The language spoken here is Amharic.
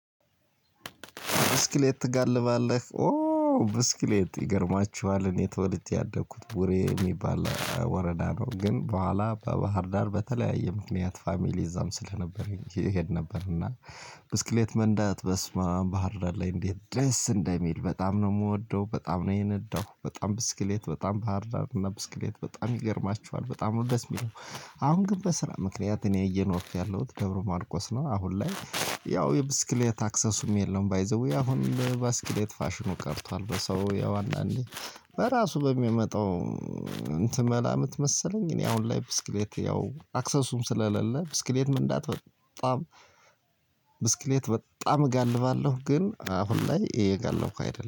ብስክሌት ትጋልባለህ? ብስክሌት ይገርማችኋል እኔ ተወልቼ ያደኩት ቡሬ የሚባል ወረዳ ነው። ግን በኋላ በባህር ዳር በተለያየ ምክንያት ፋሚሊ እዛም ስለነበረ እሄድ ነበር። እና ብስክሌት መንዳት በስመአብ ባህር ላይ እንዴት ደስ እንደሚል በጣም ነው የምወደው በጣም ነው የነዳው በጣም ብስክሌት በጣም ባህር ዳር እና ብስክሌት በጣም ይገርማችኋል በጣም ነው ደስ የሚለው። አሁን ግን በስራ ምክንያት እኔ እየኖርኩ ያለሁት ደብረ ማርቆስ ነው። አሁን ላይ ያው የብስክሌት አክሰሱም የለም። ባይ ዘ ዌይ አሁን ብስክሌት ፋሽኑ ቀርቷል። በሰው ያው አንድ እንዴ? በራሱ በሚያመጣው እንትን መላምት መሰለኝ። እኔ አሁን ላይ ብስክሌት ያው አክሰሱ ስለሌለ ብስክሌት መንዳት በጣም። ብስክሌት በጣም እጋልባለሁ ግን አሁን ላይ እየጋለብኩ አይደለም